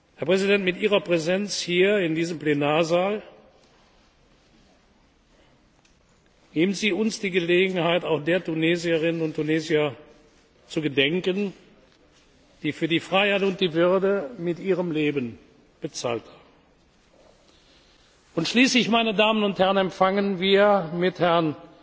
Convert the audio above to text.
Herr Präsident, mit Ihrer Präsenz hier in diesem Plenarsaal geben Sie uns die Gelegenheit, auch der Tunesierinnen und Tunesier zu gedenken, die für die Freiheit und die Würde mit ihrem Leben bezahlt haben, und schließlich, meine Damen und Herren, empfangen wir mit Herrn